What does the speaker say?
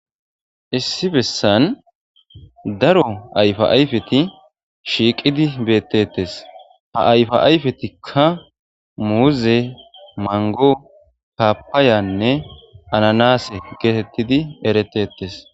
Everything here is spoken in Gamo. issi bessan daro ayfa ayfeti shiiqidi beettettes ha ayfa ayfetikka muuze mango paapayanne ananase geetettidi eretetes